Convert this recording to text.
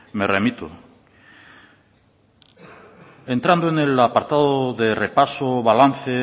me remito entrando en el apartado de repaso balance